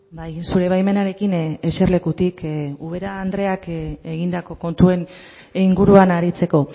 bai zure baimenarekin eserlekutik ubera andreak egindako kontuen inguruan aritzeko